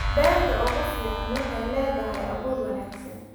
Beerta ugu fiican waxay leedahay abuur wanaagsan.